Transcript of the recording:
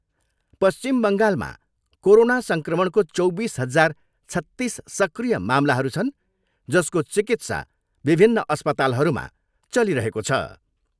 पश्चिम बङ्गालमा कोरोना सङ्क्रमणको चौबिस हजार छत्तिस सक्रिय मामलाहरू छन् जसको चिकित्सा विभिन्न अस्पतालहरूमा चलिरहेको छ।